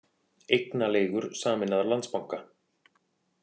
Eignaleigur sameinaðar Landsbanka